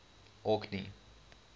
orkney